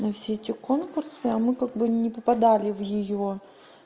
на все эти конкурсы а мы как бы не попадали в её